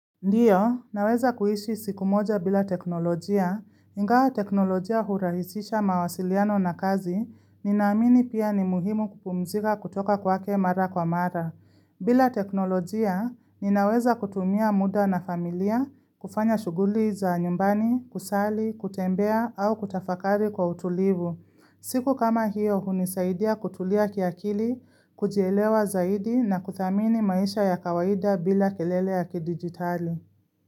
Ndiyo, naweza kuishi siku moja bila teknolojia, ingawa teknolojia hurahisisha mawasiliano na kazi, ninaamini pia ni muhimu kupumzika kutoka kwake mara kwa mara. Bila teknolojia, ninaweza kutumia muda na familia, kufanya shuguli za nyumbani, kusali, kutembea, au kutafakari kwa utulivu. Siku kama hiyo hunisaidia kutulia kiakili, kujielewa zaidi na kuthamini maisha ya kawaida bila kelele ya kidigitali.